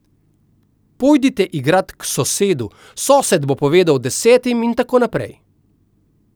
Pojdite igrat k sosedu, sosed bo povedal desetim in tako naprej.